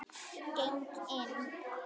Geng inn.